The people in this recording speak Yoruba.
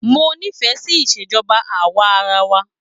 Mo nifẹ sí Ìṣèjọba awa-ara-wa.